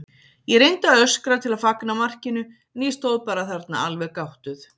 Ég reyndi að öskra til að fagna markinu en ég stóð bara þarna alveg gáttuð.